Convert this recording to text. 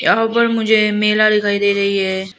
यहां पर मुझे मेला दिखाई दे रही है।